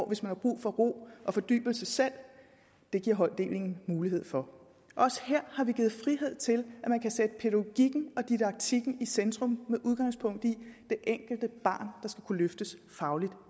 hvis man har brug for ro og fordybelse selv det giver holddeling mulighed for også her har vi givet frihed til at man kan sætte pædagogikken og didaktikken i centrum med udgangspunkt i det enkelte barn der skal kunne løftes